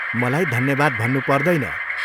मलाई धन्यवाद भन्नु पर्दैन।